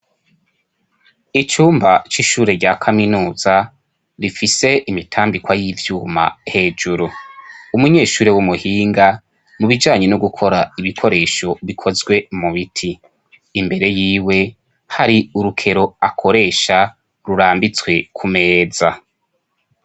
Icumba c'ishure rya kaminuza rifise imitambikwa y'ivyuma hejuru, umunyeshuri w'umuhinga mu bijanye no gukora ibikoresho bikozwe mu biti, imbere yiwe hari urukero akoresha rurambitswe ku meza.